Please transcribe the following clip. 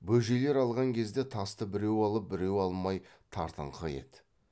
бөжейлер алған кезде тасты біреу алып біреу алмай тартыңқы еді